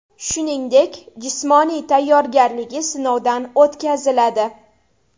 Shuningdek, jismoniy tayyorgarligi sinovdan o‘tkaziladi.